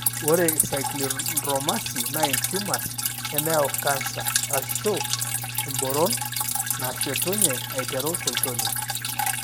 Ore iCylindromasi naa intumors nemeyau cancer (emboron) naashetunye aiteru tolchoni.